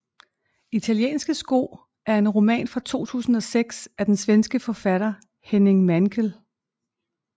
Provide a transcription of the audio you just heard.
Italienske sko er en roman fra 2006 af den svenske forfatter Henning Mankell